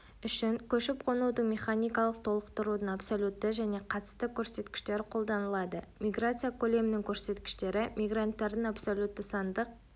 үшін көшіп-қонудың механикалық толықтырудың абсолютті және қатысты көрсеткіштері қолданылады миграция көлемінің көрсеткіштері мигранттардың абсолютті сандық